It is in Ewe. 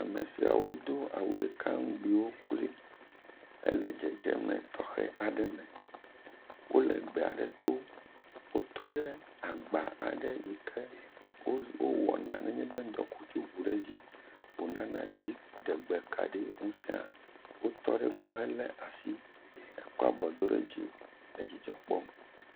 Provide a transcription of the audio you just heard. Ame siawo wodo awu ɖeka ŋgbiwo kloe hele dzedzeme tɔxɛ aɖe me. Wo le gbe aɖe to. Wotɔ ɖe agba aɖe yi ke wo wowɔna nenye be ŋdɔkutsu ŋu ɖe edzi wo nana dziɖegbekaɖi ŋusea. Wotɔ ɖe egbɔ hele asi ekɔ abɔ do ɖe dzi edzidzɔ kpɔm.